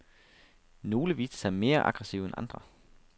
Nogle viste sig mere aggressive end andre.